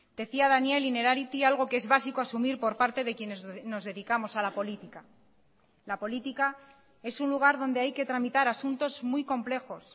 decía daniel innerarity algo que es básico asumir por parte de quienes nos dedicamos a la política la política es un lugar donde hay que tramitar asuntos muy complejos